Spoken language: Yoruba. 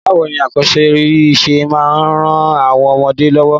Bàwoni akọ́sórí se máa n ran àwon ọmọdé lọ́wọ́?